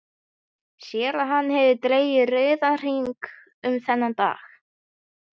Sér að hann hefur dregið rauðan hring um þennan dag.